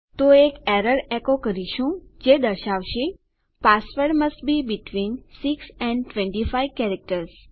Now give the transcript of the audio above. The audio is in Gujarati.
તો એક એરર એકો કરીશું જે દર્શાવશે password must be between 6 and 25 characters